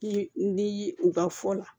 N di u ka fɔ la